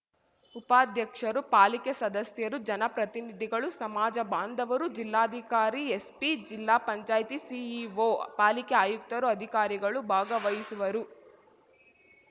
ಉಪಾಧ್ಯಕ್ಷರು ಪಾಲಿಕೆ ಸದಸ್ಯರು ಜನಪ್ರತಿನಿಧಿಗಳು ಸಮಾಜ ಬಾಂಧವರು ಜಿಲ್ಲಾಧಿಕಾರಿ ಎಸ್ಪಿ ಜಿಲ್ಲಾ ಪಂಚಾಯ್ತಿ ಸಿಇಒ ಪಾಲಿಕೆ ಆಯುಕ್ತರು ಅಧಿಕಾರಿಗಳು ಭಾಗವಹಿಸುವರು